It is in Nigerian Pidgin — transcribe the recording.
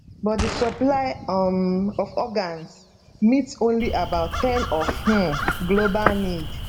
but di supply um of organs meet only about ten of um global need